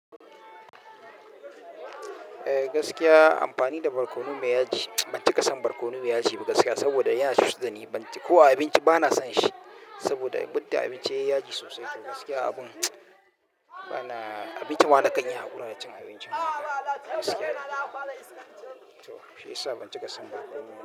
Eh gaskiya amfani da barkono mai yaji mits. Ban cika san barkono mai yaji ba gaskiya saboda ya cucad dani. Ban ci ko abinci bana son shi saboda ya budda abinci yai yaji sosai. To gaskiya abun mtsw bana, abinci wa nakan iya haƙura da cin abincinma gaskiya. To shi yasa ban cika san barkono.